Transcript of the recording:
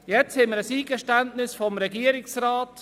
Wir haben jetzt ein Eingeständnis des Regierungsrats.